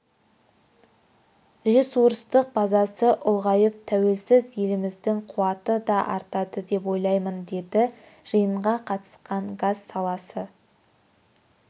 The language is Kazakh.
ресурстық базасы ұлғайып тәуелсіз еліміздің қуаты да артады деп ойлаймын деді жиынға қатысқан газ саласы